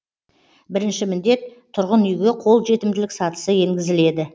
бірінші міндет тұрғын үйге қолжетімділік сатысы енгізіледі